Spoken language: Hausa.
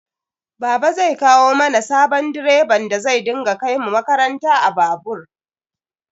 Baba zai kawo mana sabon direban da zai dinga kaimu makaranta a babur